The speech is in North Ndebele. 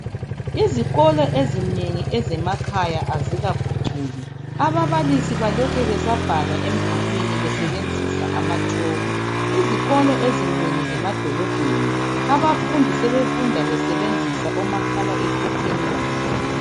Izikolo ezinengi ezemakhaya azikaphucuki ababalisi balokhe besesabhala emdulwini besebenzisa amatshoko. Izikolo ezinengi zemadolobheni, abafundi sebefunda besebenzisa omakhala ekhukhwini babo.